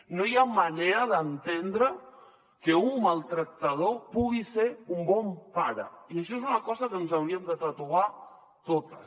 no hi ha manera d’entendre que un maltractador pugui ser un bon pare i això és una cosa que ens hauríem de tatuar totes